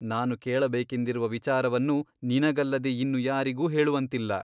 ನಾನು ಕೇಳಬೇಕೆಂದಿರುವ ವಿಚಾರವನ್ನು ನಿನಗಲ್ಲದೆ ಇನ್ನು ಯಾರಿಗೂ ಹೇಳುವಂತಿಲ್ಲ.